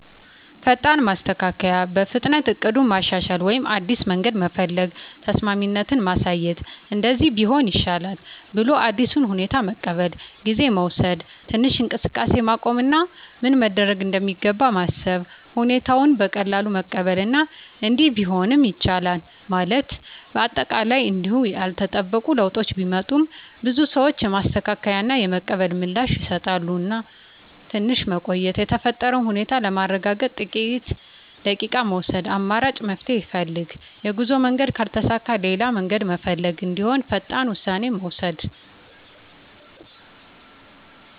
ፈጣን ማስተካከያ – በፍጥነት እቅዱን ማሻሻል ወይም አዲስ መንገድ መፈለግ። ተስማሚነት ማሳየት – “እንደዚህ ቢሆን ይሻላል” ብለው አዲሱን ሁኔታ መቀበል። ጊዜ መውሰድ – ትንሽ እንቅስቃሴን ማቆም እና ምን መደረግ እንደሚገባ ማሰብ። ሁኔታውን በቀላሉ መቀበል እና “እንዲህ ቢሆንም ይቻላል” ማለት። አጠቃላይ እንዲሁ ያልተጠበቁ ለውጦች ቢመጡም፣ ብዙ ሰዎች የማስተካከያ እና የመቀበል ምላሽ ይሰጣሉ። ትንሽ መቆየት – የተፈጠረውን ሁኔታ ለማረጋገጥ ጥቂት ደቂቃ መውሰድ። አማራጭ መፍትሄ ፈልግ – የጉዞ መንገድ ካልተሳካ ሌላ መንገድ መፈለግ እንደሚሆን ፈጣን ውሳኔ መውሰድ።